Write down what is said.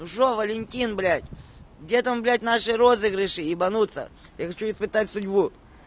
ну что валентин блять где там блять наши розыгрыши ебанутся я хочу испытать судьбу